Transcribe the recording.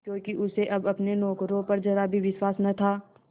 क्योंकि उसे अब अपने नौकरों पर जरा भी विश्वास न था